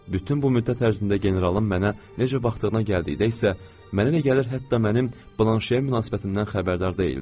Bütün bu müddət ərzində generalın mənə necə baxdığına gəldikdə isə, mənə elə gəlir hətta mənim Blanşeyə münasibətimdən xəbərdar deyildi.